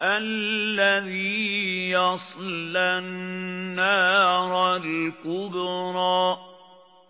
الَّذِي يَصْلَى النَّارَ الْكُبْرَىٰ